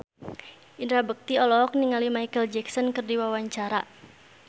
Indra Bekti olohok ningali Micheal Jackson keur diwawancara